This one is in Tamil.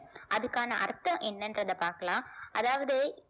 அதுக்கான அர்த்தம் என்னன்றத பார்க்கலாம் அதாவது